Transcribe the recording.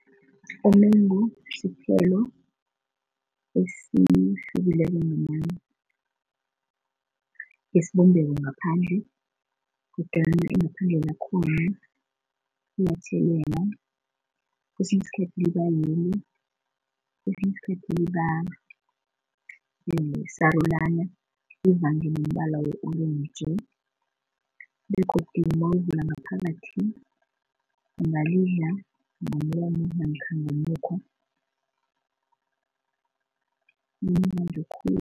Umengu sithelo esihlukileko esibumbeko ngaphandle kodwana ingaphandle lakhona liyatjhelela kwesinye isikhathi liba yellow, kesinye isikhathi liba sarulana kuvangene umbala we-orentji begodu nawulivula ngaphakathi ungalidla ngomlomo namkha ngomukhwa limnandi khulu.